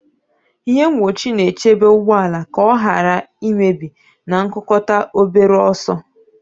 Ihe mgbochi na-echebe ụgbọ ala ka ọ ghara imebi na nkukota obere ọsọ.